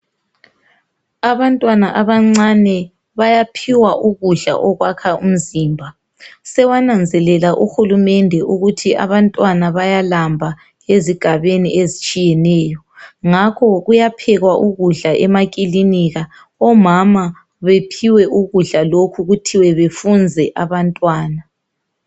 Abantwana abancane bayaphiwa ukudla okwakha imizimba . Sewananzelela uhulumende ukuthi abantwana bayalamba ezigabeni ezitshiyeneyo ngakho kuyaphekwa ukudla emakilinika omama beohiwe ukudla lokhu kuthiwe befunze abantwana.